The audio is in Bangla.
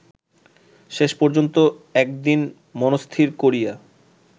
শেষপর্যন্ত একদিন মনস্থির করিয়া